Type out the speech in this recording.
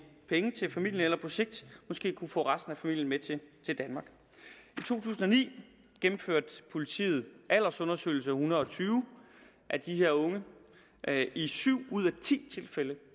penge til familien eller på sigt måske kan få resten af familien med til danmark i to tusind og ni gennemførte politiet en aldersundersøgelse hundrede og tyve af de her unge i syv ud af ti tilfælde